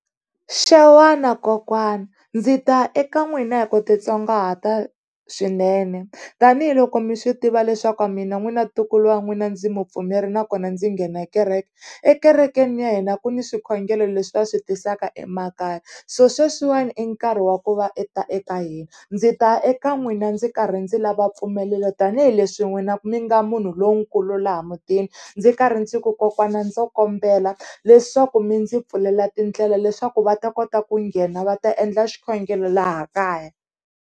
Xewani kokwana, ndzi ta eka n'wina hi ku titsongahata swinene tanihiloko mi swi tiva leswaku mina n'wina ntukulu wa n'wina, ndzi mupfumeri nakona ndzi nghena kereke, ekerekeni ya hina ku ni swikhongelo leswi va swi tisaka emakaya so sweswiwani i nkarhi wa ku va i ta eka hina. Ndzi ta eka n'wina ndzi karhi ndzi lava mpfumelelo tanihileswi n'wina mi nga munhu lonkulu laha mutini ndzi karhi ndzi ku kokwana ndzo kombela leswaku mi ndzi pfulela tindlela, leswaku va ta kota ku nghena va ta endla xikhongelo laha kaya.